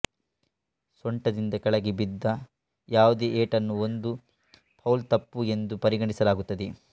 ಸೊಂಟದಿಂದ ಕೆಳಗೆ ಬಿದ್ದ ಯಾವುದೇ ಏಟನ್ನು ಒಂದು ಫೌಲ್ ತಪ್ಪು ಎಂದು ಪರಿಗಣಿಸಲಾಗುತ್ತದೆ